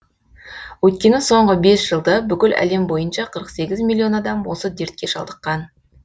өйткені соңғы бес жылда бүкіл әлем бойынша қырық сегіз миллион адам осы дертке шалдыққан